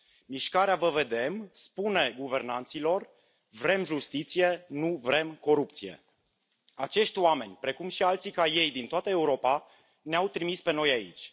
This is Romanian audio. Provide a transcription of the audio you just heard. Mișcarea Vă vedem spune guvernanților vrem justiție, nu vrem corupție. Acești oameni, precum și alții ca ei din toată Europa, ne au trimis pe noi aici.